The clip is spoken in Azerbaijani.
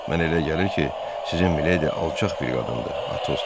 "Mənə elə gəlir ki, sizin Miledi alçaq bir qadındır," Atos dedi.